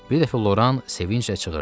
Bir dəfə Loran sevinclə çığırdı.